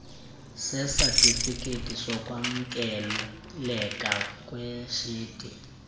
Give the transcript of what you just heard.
sesatifiketi sokwamkeleka kweshedi